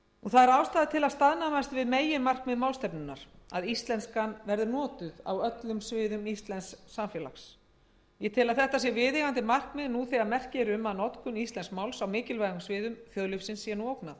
það er ástæða til að staðnæmast við meginmarkmið málstefnunnar að íslenskan verði notuð á öllum sviðum íslensks samfélags ég tel að þetta sé viðeigandi markmið nú þegar merki eru um að notkun íslensks máls á mikilvægum sviðum þjóðlífsins sé ógnað